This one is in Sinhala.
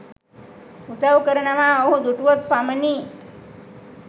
උදව් කරනවා ඔහු දුටුවොත් පමණි